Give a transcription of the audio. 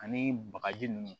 Ani bagaji nunnu